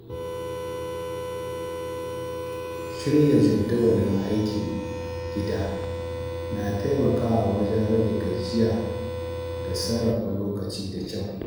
Shirya jadawalin aikin gida na taimakawa wajen rage gajiya da sarrafa lokaci da kyau.